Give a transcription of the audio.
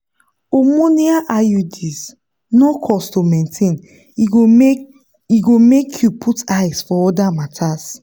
hormonal iuds no cost to maintain e go make e go make you put eyes for other matters.